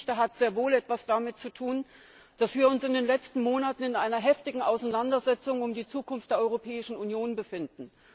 Die Geschichte hat sehr wohl etwas damit zu tun, dass wir uns in den letzten Monaten in einer heftigen Auseinandersetzung um die Zukunft der Europäischen Union befinden.